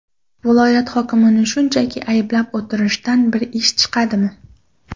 Viloyat hokimini shunchaki ayblab o‘tirishdan bir ish chiqadimi?